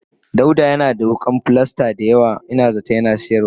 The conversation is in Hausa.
dauda Yana da wukan pilalas daya yawa in zaton Yana sayar dashi.